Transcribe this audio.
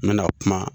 N bɛna kuma